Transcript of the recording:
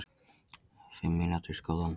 Fimm mínútur